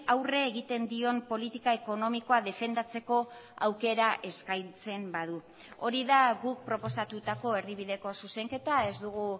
aurre egiten dion politika ekonomikoa defendatzeko aukera eskaintzen badu hori da guk proposatutako erdibideko zuzenketa ez dugu